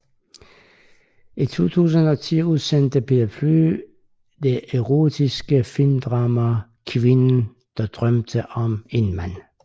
I 2010 udsendte Per Fly det erotiske filmdrama Kvinden der drømte om en mand